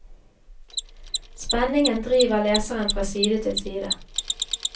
Spenningen driver leseren fra side til side.